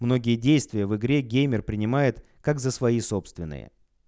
многие действия в игре геймер принимает как за свои собственные